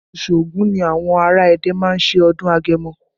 Oṣù Ògún ni àwọn ará Ẹdẹ má ń ṣe ọdún agẹmọ